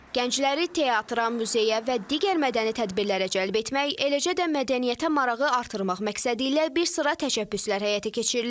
Gəncləri teatra, muzeyə və digər mədəni tədbirlərə cəlb etmək, eləcə də mədəniyyətə marağı artırmaq məqsədi ilə bir sıra təşəbbüslər həyata keçirilir.